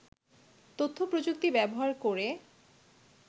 তথ্যপ্রযুক্তি ব্যবহার করে